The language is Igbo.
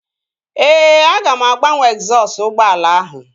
Ee, aga m agbanwe egzọsụ ụgbọala ahụ